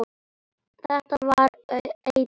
Þetta var einhver eitrun.